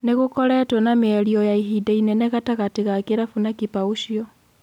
Nigũkoretwo na mĩario ya ihinda inene gatagatĩ ga kĩrabu na kipa ũcio.